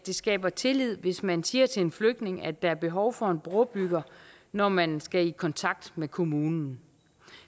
det skaber tillid hvis man siger til en flygtning at der er behov for en brobygger når man skal i kontakt med kommunen